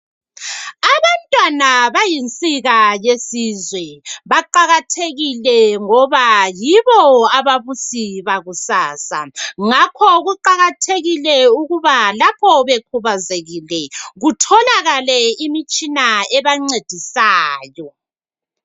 Abantwana bayinsika yesizwe, baqakathekile ngoba yibo ababusi bakusasa ngakho kuqakathekile ukuba lapho bekhubazekile kutholakale imitshina ebancedisayo.